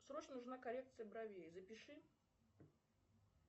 срочно нужна коррекция бровей запиши